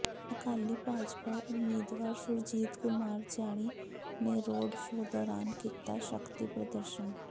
ਅਕਾਲੀ ਭਾਜਪਾ ਉਮੀਦਵਾਰ ਸੁਰਜੀਤ ਕੁਮਾਰ ਜਿਆਣੀ ਨੇ road show ਦੌਰਾਨ ਕੀਤਾ ਸ਼ਕਤੀ ਪ੍ਰਦਰਸ਼ਨ